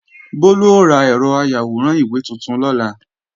Bólú ó ra ẹ̀rọ ayàwòrán ìwé tuntun lọ́la